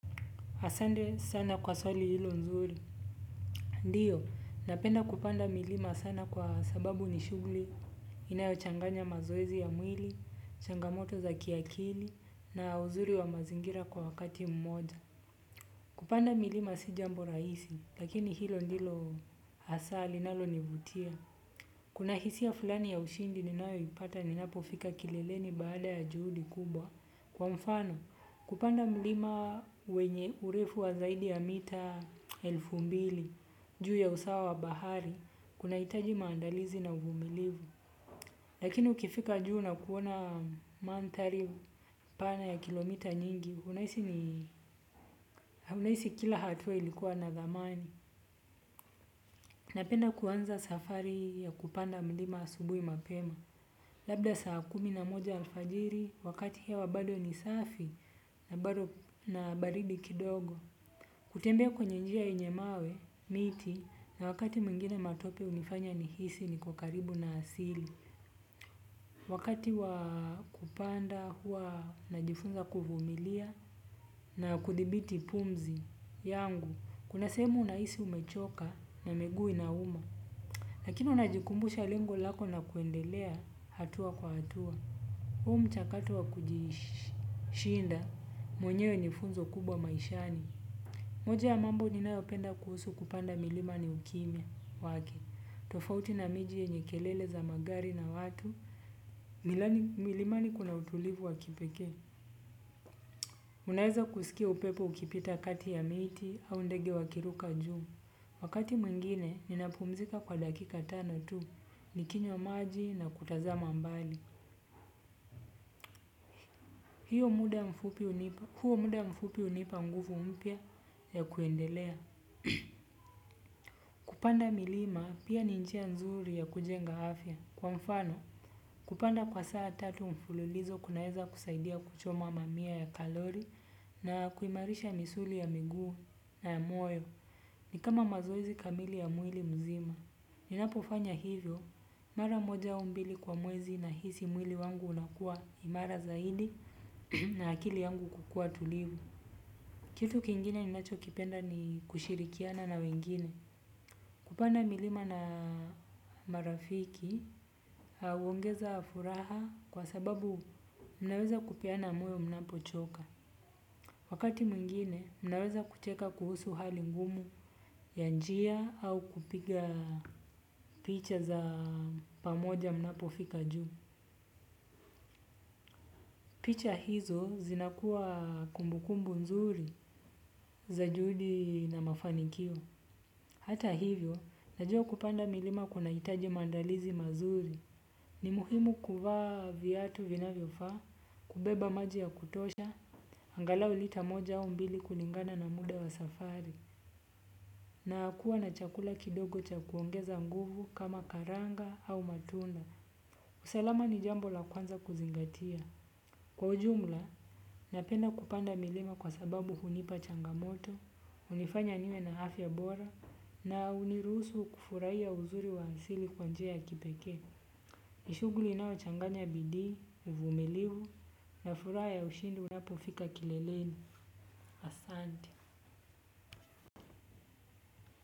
Asante sana kwa swali hilo nzuri. Ndiyo, napenda kupanda milima sana kwa sababu nishughuli, inayochanganya mazoezi ya mwili, changamoto za kiakili, na uzuri wa mazingira kwa wakati mmoja. Kupanda milima sijambo rahisi, lakini hilo ndilo hasa linalonivutia. Kuna hisia fulani ya ushindi ninayoipata ninapofika kileleni baada ya juhudi kubwa. Kwa mfano, kupanda mlima wenye urefu wa zaidi ya mita elfu mbili, juu ya usawa wa bahari, kunahitaji maandalizi na uvumilivu. Lakini ukifika juu na kuona mandhari pana ya kilomita nyingi unahisi kila hatua ilikuwa na thamani. Napenda kuanza safari ya kupanda mlima asubuhi mapema. Labda saa kumi na moja alfajiri, wakati hewa bado ni safi na bado na baridi kidogo. Kutembea kwenye njia yenye mawe, miti, na wakati mwingine matope hunifanya nihisi niki karibu na asili. Wakati wa kupanda huwa najifunza kuvumilia na kudhibiti pumzi yangu, kuna sehemu unahisi umechoka na miguu inauma. Lakini unajikumbusha lengo lako na kuendelea hatua kwa hatua. Huu mchakato wa kujishinda mwenyewe ni funzo kubwa maishani moja ya mambo ninayopenda kuhusu kupanda milima ni ukimya wake tofauti na miji yenye kelele za magari na watu milimani kuna utulivu wa kipekee. Unaeza kusikia upepo ukipita kati ya miti au ndege wakiruka juu. Wakati mwingine, ninapumzika kwa dakika tano tu, nikinywa maji na kutazama mbali. Huo muda mfupi hunipa nguvu mpya ya kuendelea. Kupanda milima, pia ni njia nzuri ya kujenga afya. Kwa mfano, kupanda kwa saa tatu mfululizo kunaeza kusaidia kuchoma mamia ya kalori na kuimarisha misuli ya miguu na ya moyo. Ni kama mazoezi kamili ya mwili mzima. Ninapofanya hivyo, mara moja au mbili kwa mwezi nahisi mwili wangu unakuwa imara zaidi na akili yangu kukuwa tulivu. Kitu kingine ninachokipenda ni kushirikiana na wengine. Kupanda milima na marafiki huongeza furaha kwa sababu mnaweza kupeana moyo mnapochoka wakati mwingine mnaweza kucheka kuhusu hali ngumu ya njia au kupiga picha za pamoja mnapofika juu. Picha hizo zinakuwa kumbukumbu nzuri za juhudi na mafanikio. Hata hivyo, najua kupanda milima kunahitaji maandalizi mazuri. Ni muhimu kuvaa viatu vinavyofaa, kubeba maji ya kutosha, angalau lita moja au mbili kulingana na muda wa safari. Na kuwa na chakula kidogo cha kuongeza nguvu kama karanga au matunda. Usalama ni jambo la kwanza kuzingatia. Kwa ujumla, napenda kupanda milima kwa sababu hunipa changamoto hunifanya niwe na afya bora. Na hunirusu kufurahia uzuri wa asili kwa njia ya kipekee. Ni shughuli inayochanganya bidii, uvumilivu na furahal ya ushindi unapofika kileleni. Asante.